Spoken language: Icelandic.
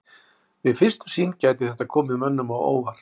Við fyrstu sýn gæti þetta komið mönnum á óvart.